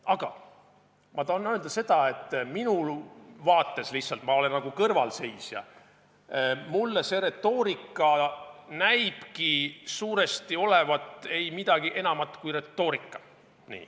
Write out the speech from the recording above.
Aga ma tahan öelda seda, et minu vaates lihtsalt – ma olen kõrvalseisja – see retoorika näibki suuresti olevat ei midagi enamat kui retoorika.